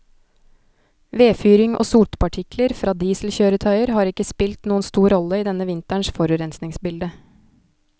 Vedfyring og sotpartikler fra dieselkjøretøyer har ikke spilt noen stor rolle i denne vinterens forurensningsbilde.